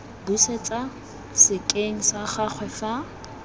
busetswa sekeng sa gagwe fa